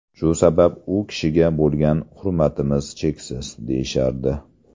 Shu sabab u kishiga bo‘lgan hurmatimiz cheksiz”, deyishardi.